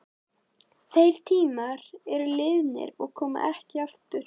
Þeir tímar eru liðnir og koma ekki aftur.